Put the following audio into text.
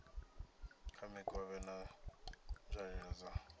kha mikovhe na nzwalelo dza